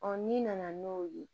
n'i nana n'o ye